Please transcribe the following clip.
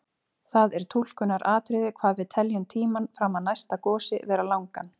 Það er túlkunaratriði hvað við teljum tímann fram að næsta gosi vera langan.